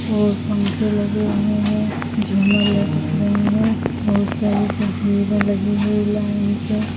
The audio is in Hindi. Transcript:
और पंखे लगे हुए है झूमर लटक रहे है बहुत सारी तस्वीर लगी हुई है लाइन से--